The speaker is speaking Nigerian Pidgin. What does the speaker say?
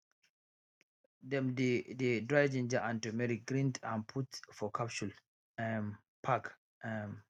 dem dey dey dry ginger and turmeric grind am put for capsule um pack um